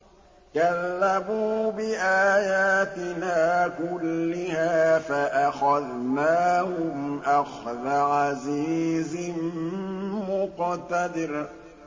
كَذَّبُوا بِآيَاتِنَا كُلِّهَا فَأَخَذْنَاهُمْ أَخْذَ عَزِيزٍ مُّقْتَدِرٍ